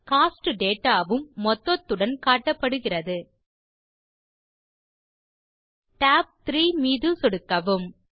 cost data வும் மொத்தத்துடன் காட்டப்படுகிறது tab 3 மீது சொடுக்கவும்